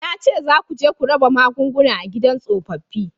Na ce za ku je ku raba magunguna a gidan tsofaffi